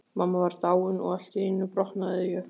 Mamma var dáin og allt í einu brotnaði ég.